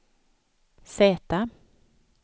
Z